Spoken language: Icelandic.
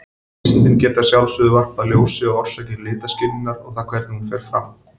Vísindin geta að sjálfsögðu varpað ljósi á orsakir litaskynjunar og það hvernig hún fer fram.